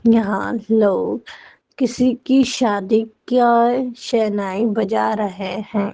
यहां लोग किसी की शादी क्य शहनाई बजा रहे हैं।